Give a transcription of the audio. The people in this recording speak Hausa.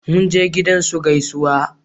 Mun je gidan su gaisuwa